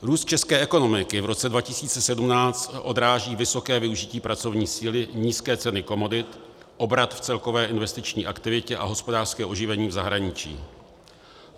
Růst české ekonomiky v roce 2017 odráží vysoké využití pracovní síly, nízké ceny komodit, obrat v celkové investiční aktivitě a hospodářské oživení v zahraničí.